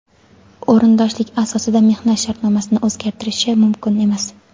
o‘rindoshlik asosida mehnat shartnomasini o‘zgartirishi mumkin emas.